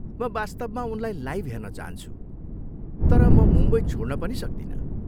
म वास्तवमा उनलाई लाइभ हेर्न चाहन्छु, तर म मुम्बई छोड्न पनि सक्दिनँ।